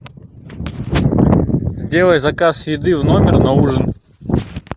сделай заказ еды в номер на ужин